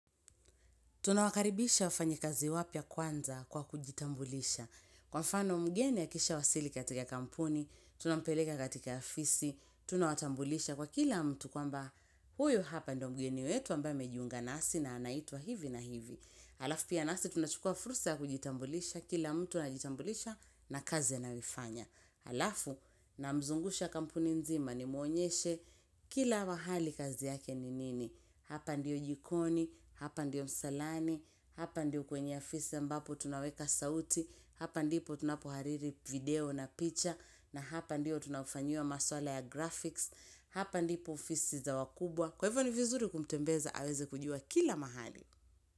Tunawakaribisha wafanya kazi wapya kwanza kwa kujitambulisha. Kwa mfano mgeni akishawasili katika kampuni, tunampeleka katika ofisi, tuna watambulisha kwa kila mtu kwamba huyu hapa ndo mgeni wetu ambaye amejiunga nasi na anaitwa hivi na hivi. Alafu pia nasi tunachukua fursa kujitambulisha kila mtu anajitambulisha na kazi anayoifanya. Alafu na mzungusha kampuni nzima nimuonyeshe kila mahali kazi yake ni nini. Hapa ndio jikoni, hapa ndio msalani, hapa ndio kwenye ofisi ambapo tunaweka sauti, hapa ndipo tunapo hariri video na picha, na hapa ndio tunafanyiwa maswala ya graphics, hapa ndipo ofisi za wakubwa. Kwa hivyo ni vizuri kumtembeza aweze kujua kila mahali.